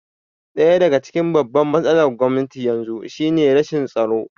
Ɗaya daga cikin babban matsalar Gwamnatin yanzu shi ne rashin tsaro